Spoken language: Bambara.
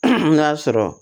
N k'a sɔrɔ